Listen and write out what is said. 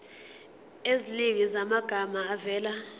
eziningi zamagama avela